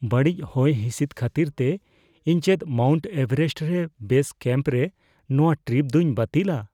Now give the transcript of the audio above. ᱵᱟᱹᱲᱤᱡ ᱦᱚᱭᱦᱤᱥᱤᱫ ᱠᱷᱟᱹᱛᱤᱨᱛᱮ , ᱤᱧ ᱪᱮᱫ ᱢᱟᱣᱩᱱᱴ ᱮᱵᱷᱟᱨᱮᱥᱴ ᱨᱮ ᱵᱮᱥ ᱠᱮᱹᱢᱯᱨᱮ ᱱᱚᱣᱟ ᱴᱨᱤᱯ ᱫᱩᱧ ᱵᱟᱹᱛᱤᱞᱟ ?